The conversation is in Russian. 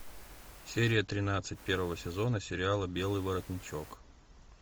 серия тринадцать первого сезона сериала белый воротничок